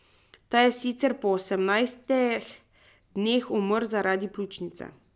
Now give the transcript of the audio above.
Ta je sicer po osemnajstih dneh umrl zaradi pljučnice.